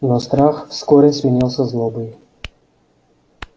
но страх вскоре сменился злобой